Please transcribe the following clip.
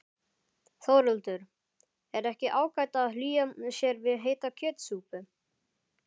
Þórhildur: Er ekki ágætt að hlýja sér við heita kjötsúpu?